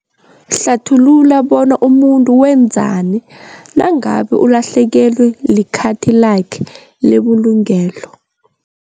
Hlathulula bona umuntu wenzani nangabe ulahlekelwe likhathi lakhe lebulungelo.